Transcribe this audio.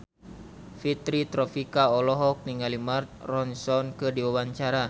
Fitri Tropika olohok ningali Mark Ronson keur diwawancara